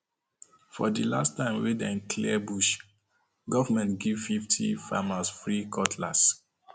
for the last time time wey dem clear bush government give fifty farmers free cutlass